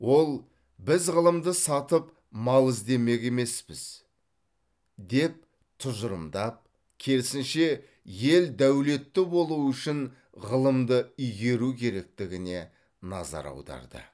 ол біз ғылымды сатып мал іздемек емеспіз деп тұжырымдап керісінше ел дәулетті болуы үшін ғылымды игеру керектігіне назар аударды